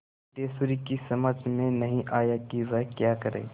सिद्धेश्वरी की समझ में नहीं आया कि वह क्या करे